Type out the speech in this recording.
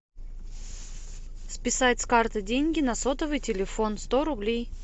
списать с карты деньги на сотовый телефон сто рублей